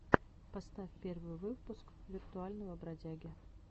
поставь первый выпуск виртуального бродяги